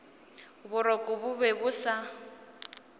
boroko bo be bo sa